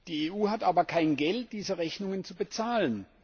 Die EU hat aber kein Geld, diese Rechnungen zu bezahlen.